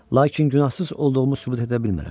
Lakin günahsız olduğumu sübut edə bilmirəm.